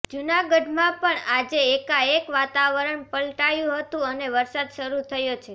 જૂનાગઢમાં પણ આજે એકાએક વાતાવરણ પલટાયું હતું અને વરસાદ શરૂ થયો છે